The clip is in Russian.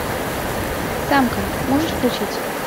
самка можешь включить